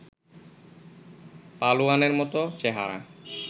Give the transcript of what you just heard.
পালোয়ানের মতো চেহারা